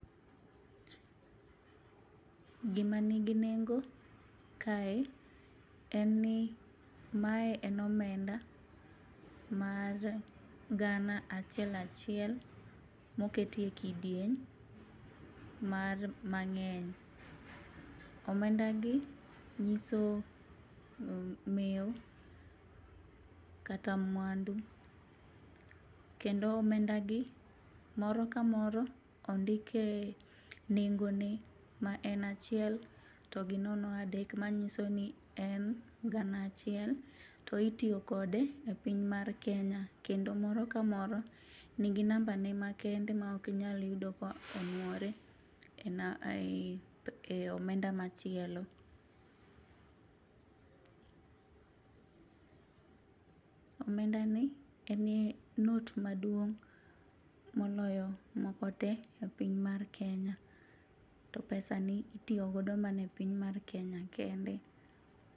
Gimanigi nengo kae en ni mae en omenda mar gana achiel achiel moket e kidieny mang'eny, omendagi nyiso mewo kata mwandu ,kendo omendagi moro ka moro ondike nengone ma en achiel to gi nono adek manyiso ni en gana achiel to itiyo kode e piny mar Kenya, kendo moro kamoro nigi nambane makende ma ok inyal yudo ka onwore e omenda machielo. Omendani en not maduong' moloyo moko te e piny mar Kenya, to pesani itiyo godo e piny mar Kenya kende.